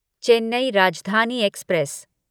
Chennai Rajdhani express